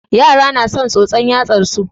Yara na son tsotson yatsar su.